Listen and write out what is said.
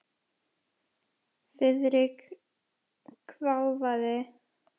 Friðrik hváði.